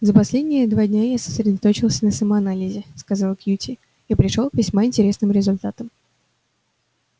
за последние два дня я сосредоточился на самоанализе сказал кьюти и пришёл к весьма интересным результатам